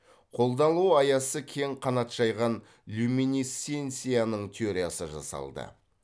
қолданылу аясы кең қанат жайған люминесценцияның теориясы жасалды